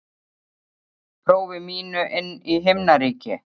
prófi mínu inn í himnaríki.